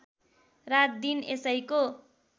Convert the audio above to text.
रात दिन यसैको